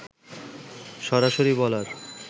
সরাসরি বলার